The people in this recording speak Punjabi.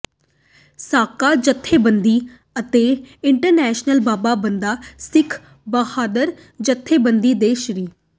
ਸਾਕਾ ਜਥੇਬੰਦੀ ਅਤੇ ਇੰਟ੍ਰਨੈਸ਼ਨਲ ਬਾਬਾ ਬੰਦਾ ਸਿੰਘ ਬਹਾਦਰ ਜਥੇਬੰਦੀ ਦੇ ਸ੍ਰ